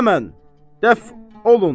Həmən dəf olun.